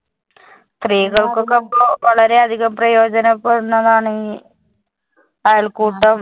സ്ത്രീ വളരെയധികം പ്രയോജനപ്പെടുന്നതാണ് ഈ അയൽക്കൂട്ടം